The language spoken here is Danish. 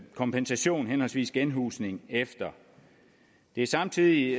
kompensation henholdsvis genhusning efter det er samtidig